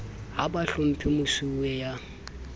ha ba hlomphe mosuwe ya